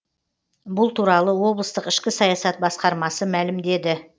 бұл туралы облыстық ішкі саясат басқармасы мәлімдеді